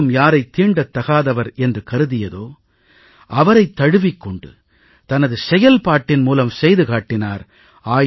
சமூகம் யாரைத் தீண்டத்தகாதவர் என்று கருதியதோ அவரைத் தழுவிக் கொண்டு தனது செயல்பாட்டின் மூலம் செய்து காட்டினார்